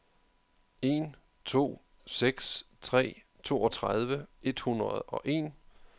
en to seks tre toogtredive et hundrede og en